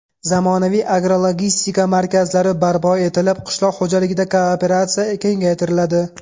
Zamonaviy agrologistika markazlari barpo etilib, qishloq xo‘jaligida kooperatsiya kengaytiriladi.